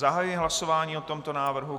Zahajuji hlasování o tomto návrhu.